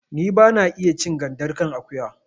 Ni ba na iya cin gandar kan akuya